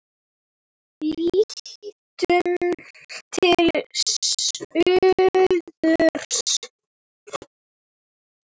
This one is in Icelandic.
Lítum til suðurs.